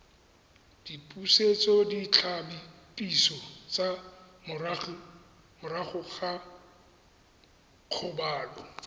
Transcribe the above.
dipusetsoditlhapiso tsa morago ga kgobalo